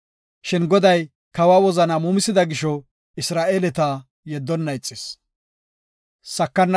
Shin Goday kawa wozanaa muumisida gisho Isra7eeleta yeddonna ixis.